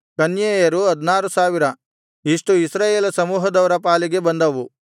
ಕನ್ಯೆಯರು 16000 ಇಷ್ಟು ಇಸ್ರಾಯೇಲ ಸಮೂಹದವರ ಪಾಲಿಗೆ ಬಂದವು